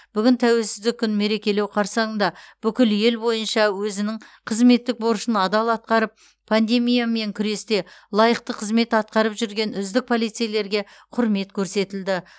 бүгін тәуелсіздік күнін мерекелеу қарсаңында бүкіл ел бойынша өзінің қызметтік борышын адал атқарып пандемиямен күресте лайықты қызмет атқарып жүрген үздік полицейлерге құрмет көрсетілді